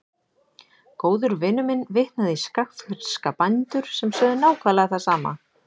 Góður vinur minn vitnaði í skagfirska bændur sem sögðu nákvæmlega það sama.